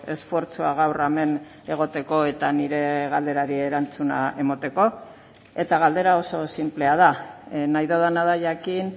esfortzua gaur hemen egoteko eta nire galderari erantzuna emateko eta galdera oso xinplea da nahi dudana da jakin